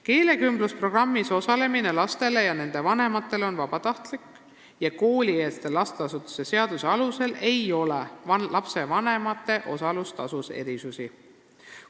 " Keelekümblusprogrammis osalemine on lastele ja nende vanematele vabatahtlik ja koolieelse lasteasutuse seaduse alusel ei ole lapsevanemate osalustasus erisusi.